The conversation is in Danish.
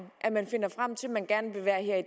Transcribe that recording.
at man finder frem til at man gerne vil være her i